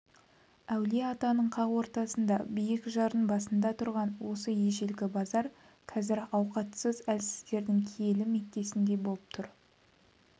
әулие-атаның қақ ортасында биік жардың басында тұрған осы ежелгі базар қазір ауқатсыз әлсіздердің киелі меккесіндей болып тұр